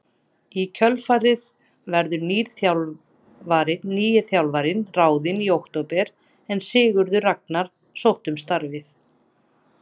Í kjölfarið verður nýr þjálfari ráðinn í október en Sigurður Ragnar sótti um starfið.